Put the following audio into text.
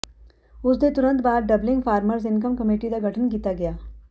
ਉਸ ਦੇ ਤੁਰੰਤ ਬਾਅਦ ਡਬਲਿੰਗ ਫਾਰਮਰਜ਼ ਇਨਕਮ ਕਮੇਟੀ ਦਾ ਗਠਨ ਕਰ ਦਿੱਤਾ ਗਿਆ